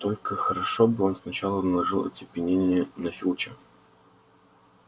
только хорошо бы он сначала наложил оцепенение на филча